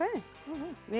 við